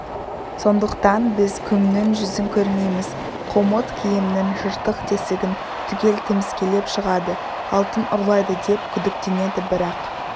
сондықтан біз күннің жүзін көрмейміз қомыт киімнің жыртық-тесігін түгел тіміскілеп шығады алтын ұрлайды деп күдіктенеді бірақ